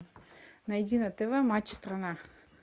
найди на тв матч страна